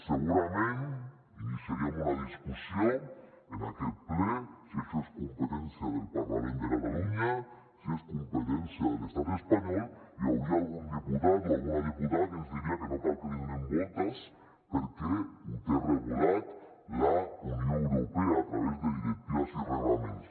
segurament iniciaríem una discussió en aquest ple si això és competència del parlament de catalunya si és competència de l’estat espanyol i hi hauria algun diputat o alguna diputada que ens diria que no cal que li donem voltes perquè ho té regulat la unió europea a través de directives i reglaments